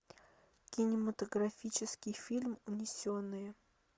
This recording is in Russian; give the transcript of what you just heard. кинематографический фильм унесенные